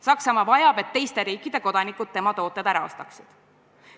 Saksamaa vajab, et teiste riikide kodanikud tema tooted ära ostaksid.